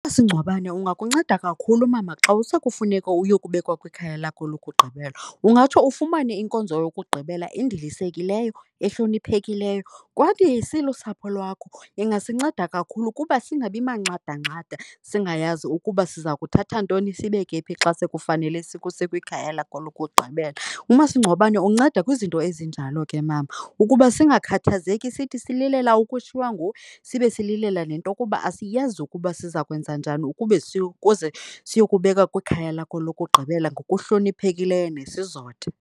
Umasingcwabane ungakunceda kakhulu, mama, xa sekufuneka uyokubekwa kwikhaya lakhe lokugqibela, ungatsho ufumane inkonzo yokugqibela endilisekileyo, ehloniphekileyo. Kodwa silusapho lwakho ingasinceda kakhulu kuba singabi manxandanxada, singayazi ukuba siza kuthatha ntoni sibeke phi xa sekufanele sikuse kwikhaya lakho lokugqibela. Umasingcwabane unceda kwizinto ezinjalo ke, mama, ukuba singakhathazeki sithi sililela ukushiywa nguwe sibe sililela nento yokuba asiyazi ukuba siza kwenza njani ukube ukuze siyokubeka kwikhaya lakho lokugqibela ngokuhloniphekileyo nesizotha.